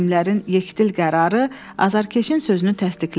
Hakimlərin yekdil qərarı azarkeşin sözünü təsdiqlədi.